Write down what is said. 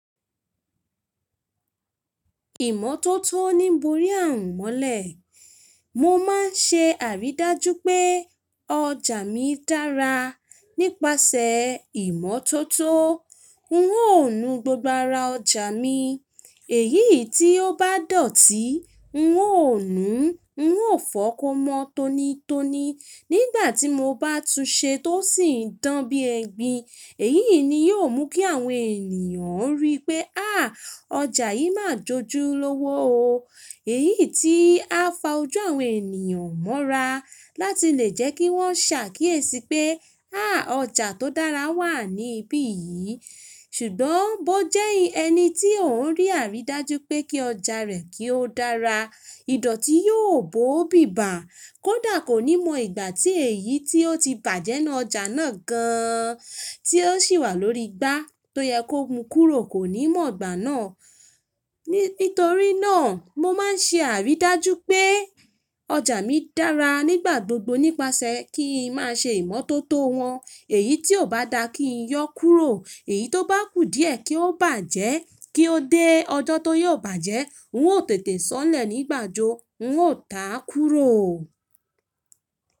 Ìmọ́tótó ní borí ààrùn mọ́lẹ̀. Mo máa ń ṣe àrídájú pé ọjà mi dára nípasẹ̀ ìmọ́tótó. N ó nu gbogbo ara ọjà mi. Èyíi tí ó bá dọ̀tí, n ó nu, n ó fọ́ ko mọ́n tonitoni nígbà tí mo bá tu ṣe tó sì ń dán bí ẹgbin. Èyí ni yóò mú kí àwọn ènìyàn ríi pé, Há! Ọjà yìí máa jójú lówó o.” Èyí tí á fa ojú àwọn ènìyàn mọ́ra láti lè jẹ́ kí wọ́n ṣàkíyèsí pé, Há! Ọjà tó dára wà ní ibí yìí.” Ṣùgbọ́n bó jẹ́ ẹni tí ò ń rí àrídájú pé kí ọjà rẹ̀ kí ó dára, ìdọ̀tí yóò bóò bíbà kódà kò ní mọ ìgbà tí èyí tí ó ti bàjẹ́ nu ọjà náà gan tí ó sì wà lórí igbá tó yẹ kó mu kúrò kò ní mọ̀ ìgbà náà. Nítorí náà, mo máa ń ṣe àrídájú pé ọjà mi dára nígbà gbogbo nípasẹ̀ kí ń má ṣe ìmọ́tótó wọn. Èyí tí ò bá dáa kí ń yọ́ kúrò, èyí tó bá kù díẹ̀ kí ó bàjẹ́ kí ó dé ọjọ́ tó yóò bàjẹ́. N ó tètè sọ́lẹ̀ ní gbànjó, n ó tà kúrò o.